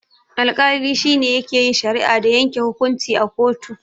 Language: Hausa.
Alkali shine yake yin shari'a da yanke hukunci a kotu.